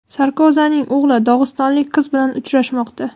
Sarkozining o‘g‘li dog‘istonlik qiz bilan uchrashmoqda.